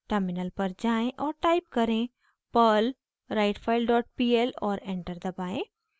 terminal पर जाएँ और टाइप करें perl writefile dot pl और एंटर दबाएं